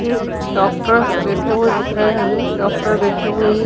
एक डॉक्टर बैठे हुए दिख रहे है ये डॉक्टर बैठे हुए हैं।